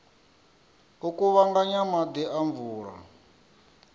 u kuvhanganya maḓi a mvula